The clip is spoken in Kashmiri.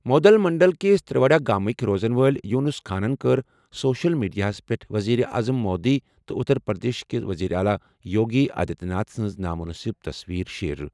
مودھول منڈل کِس تریوڈا گامٕکۍ روزَن وٲلۍ یونس خانَن کٔر سوشل میڈیاہَس پٮ۪ٹھ وزیر اعظم مودی تہٕ اتر پردیشٕک وزیر اعلیٰ یوگی آدتیہ ناتھ سٕنٛز نامناسب تصویر شیئر۔